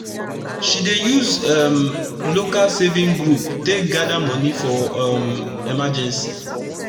she dey use um local saving group take gada moni for um emergency